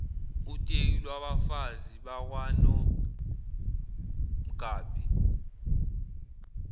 uteku lwabafazi bakwanomgabhi